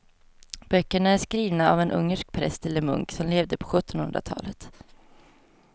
Böckerna är skrivna av en ungersk präst eller munk som levde på sjuttonhundratalet.